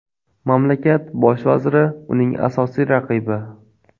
Mamlakat bosh vaziri uning asosiy raqibi.